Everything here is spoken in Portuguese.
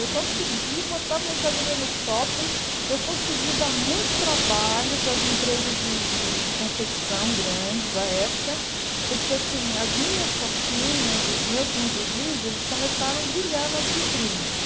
Eu consegui botar a mercadoria no shopping, eu consegui dar muito trabalho para as empresas de de de confecção grandes da época, porque, assim, as minhas calcinhas, os meus lingeries, eles começaram a brilhar nas vitrines.